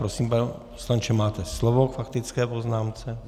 Prosím, pane poslanče, máte slovo k faktické poznámce.